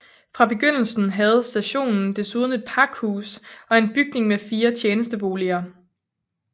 Fra begyndelsen havde stationen desuden et pakhus og en bygning med fire tjenesteboliger